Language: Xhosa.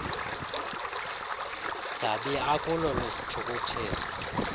dabi akulo lwesithukuthezi